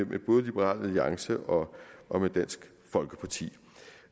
med både liberal alliance og dansk folkeparti